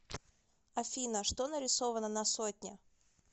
афина что нарисовано на сотне